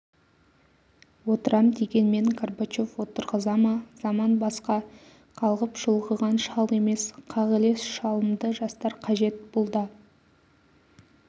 отырам дегенмен горбачев отырғыза ма заман басқа қалғып-шұлғыған шал емес қағылез шалымды жастар қажет бұл да